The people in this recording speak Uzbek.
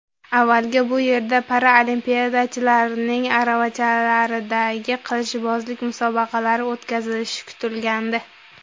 Avvaliga bu yerda paralimpiyachilarning aravachalardagi qilichbozlik musobaqalari o‘tkazilishi kutilgandi.